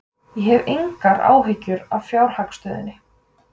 Ég hef engar áhyggjur af fjárhagsstöðunni.